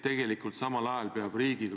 Loomulikult ma ei nõustu nende väidetega.